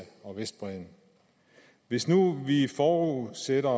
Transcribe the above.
og vestbredden hvis nu vi forudsætter